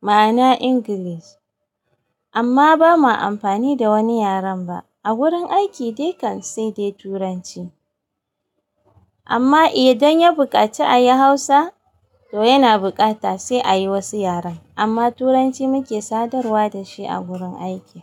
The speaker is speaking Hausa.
ma'ana English. Amma ba ma amfani da wani yaren ba. A gurin aiki dai kan sai dai Turanci. Amma idan ya buƙaci a yi Hausa to yana buƙata sai a yi wasu yaren. Amma Turanci muke sadarwa da shi a gurin aiki.